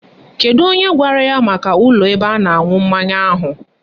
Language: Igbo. Kedu onye gwara ya maka ụlọ ebe a na-aṅụ mmanya ahụ?